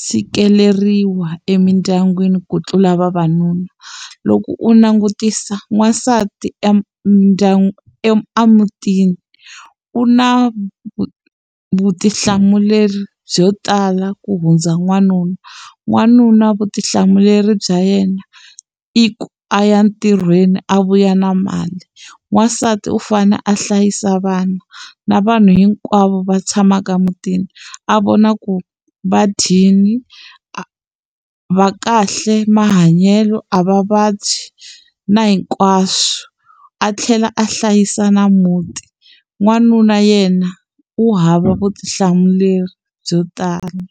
tshikeleriwa emindyangwini ku tlula vavanuna loko u langutisa n'wansati e mindyangu emutini u na vutihlamuleri byo tala ku hundza n'wanuna n'wanuna vutihlamuleri bya yena i ku a ya ntirhweni a vuya na mali wansati u fane a hlayisa vana na vanhu hinkwavo va tshamaka emutini a vona ku va dyile a va kahle mahanyelo a va vabyi na hinkwaswo a tlhela a hlayisa na muti n'wanuna yena u hava vutihlamuleri byo tala.